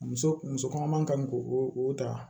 Muso muso kɔnɔma kan k'o o ta